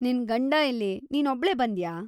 ನಿನ್ ಗಂಡ ಎಲ್ಲಿ, ನೀನೊಬ್ಳೇ ಬಂದ್ಯಾ?